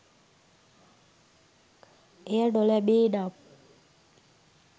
එය නොලැබේ නම්